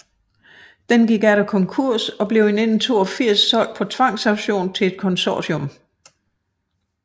Den gik atter konkurs og blev i 1982 solgt på tvangsauktion til et konsortium